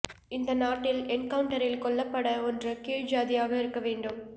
இந்த நாட்டில் என்கவுன்டவுரில் கொல்லப்பட ஒன்று கீழ் சாதியாக இருக்க வேண்டும்